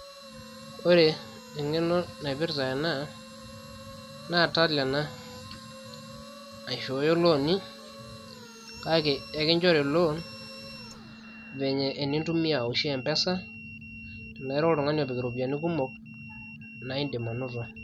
ore eng'eno naipirta ena naa tala ena naishooyo ilooni kake ekinchori lon venye enintumia oshi mpesa tenira oltung'ani opik iropiyiani kumok naa indim anoto.